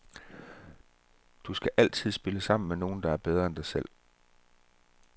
Du skal altid spille sammen med nogle, der er bedre end dig selv.